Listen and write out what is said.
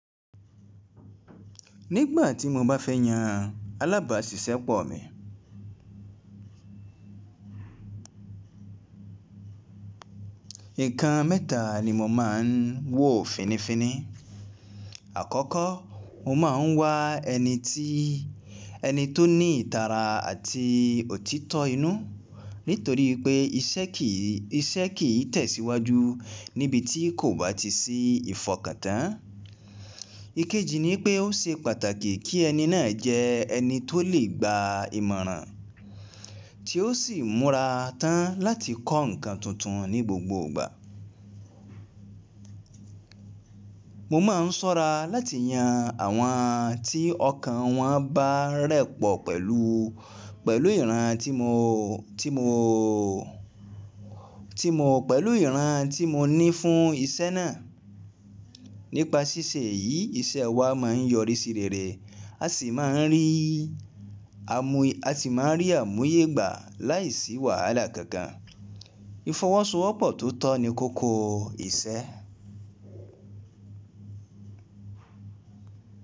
Nígbà tímo bá fẹ́yàn alábàásisẹ́pọ̀ mi, nǹkan mẹ́ta nimo máa ń wò finifini. Àkọ́kọ́ mo máa ń wá ẹni ti eni tóní ìtara àti òtítọ́ inú nítorí pé iṣẹ́ kì í tẹ̀síwájú níbi tí kò bá tisí ìfọkàntán. Ikeji ni pé ó ṣe pàtàkì kí ẹni náà jẹ́ ẹni tó lè gba ìmọ̀ràn tí ó sì múra tán láti kọ́ ǹkan tuntun ní gbogbo ìgbà. Mo máa ń ṣọ́ra láti yan àwọn tí ọkàn wọn bá rẹpọ̀ pẹ̀lú ìran tí mo ní fún ìṣe náà. Nípa ṣíṣe yìí, iṣẹ́ wa máa ń yọrí sí rere asì máa ń rí àmúyẹgbà láìsí wàhálà kankan. Ìfọwọ́sowọ́pọ̀ tó tọ́ ni kókó ìṣe.